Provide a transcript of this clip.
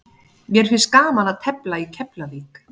Mér finnst gaman að tefla í Keflavík.